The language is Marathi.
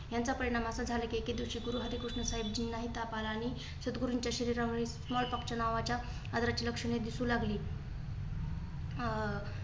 याचा परिणाम असा झाला की एके दिवशी गुरुहरिकृष्ण साहेबजी नाही ताप आला आणि सद्गुरुंच्या शरीरात small poke नावाच्या आजारा ची लक्षणे दिसू लागली. अं